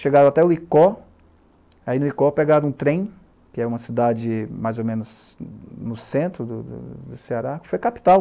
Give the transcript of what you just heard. Chegaram até o Icó, aí no Icó pegaram um trem, que era uma cidade mais ou menos no centro do do doCeará, que foi capital.